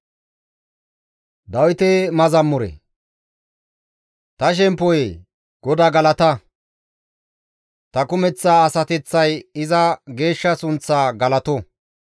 Ta shemppoyee! GODAA galata! Ta kumeththa asateththay iza geeshsha sunththa galato.